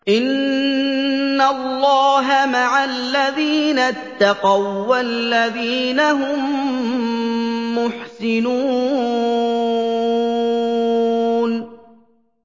إِنَّ اللَّهَ مَعَ الَّذِينَ اتَّقَوا وَّالَّذِينَ هُم مُّحْسِنُونَ